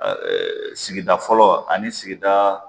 sigida fɔlɔ ani sigida